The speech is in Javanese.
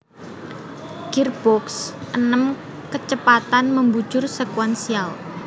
Girboks enem kecepatan membujur sekuensial